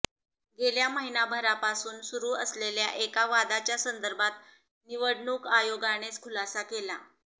गेल्या महिनाभरापासून सुरू असलेल्या एका वादाच्या संदर्भात निवडणूक आयोगानेच खुलासा केला